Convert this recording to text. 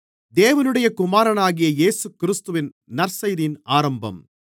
தேவனுடைய குமாரனாகிய இயேசுகிறிஸ்துவின் நற்செய்தியின் ஆரம்பம்